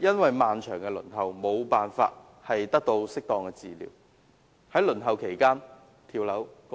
因漫長的輪候時間而得不到適當治療，在輪候期間跳樓身亡。